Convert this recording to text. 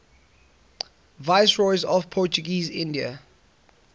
viceroys of portuguese india